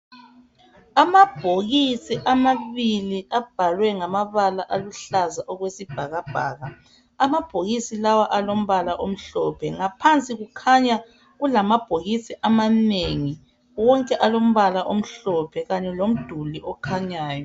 Amabhokisi amabili abhalwe ngamabala aluhlaza okwesibhakabhaka .Amabhokisi lawo alombala omhlophe, ngaphansi kukhanya kulamabhokisi amanengi wonke alombala omhlophe kanye lomduli okhanyayo.